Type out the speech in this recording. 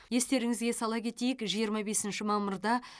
естеріңізге сала кетейік жиырма бесінші мамырда